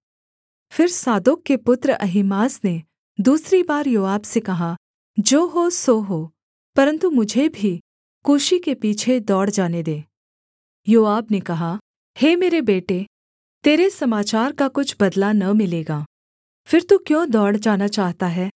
फिर सादोक के पुत्र अहीमास ने दूसरी बार योआब से कहा जो हो सो हो परन्तु मुझे भी कूशी के पीछे दौड़ जाने दे योआब ने कहा हे मेरे बेटे तेरे समाचार का कुछ बदला न मिलेगा फिर तू क्यों दौड़ जाना चाहता है